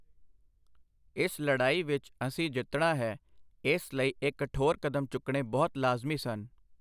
ਇਸ ਲੜਾਈ ਵਿੱਚ ਅਸੀਂ ਜਿੱਤਣਾ ਹੈ ਅਤੇ ਇਸ ਲਈ ਇਹ ਕਠੋਰ ਕਦਮ ਚੁੱਕਣੇ ਬਹੁਤ ਲਾਜ਼ਮੀ ਸਨ।